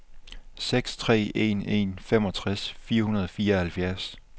seks tre en en femogtres fire hundrede og fireoghalvfjerds